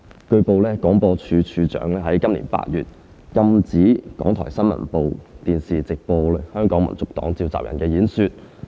據報，廣播處長於今年8月禁止港台新聞部電視直播香港民族黨召集人的演講。